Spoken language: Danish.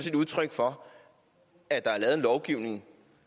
et udtryk for at der er lavet en lovgivning